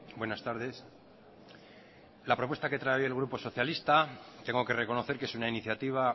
buenas tardes la propuesta que trae el grupo socialista tengo que reconocer que es una iniciativa